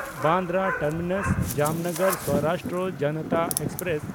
Bandra ᱴᱟᱨᱢᱤᱱᱟᱥ–ᱡᱟᱢᱱᱟᱜᱟᱨ Saurashtra Janata express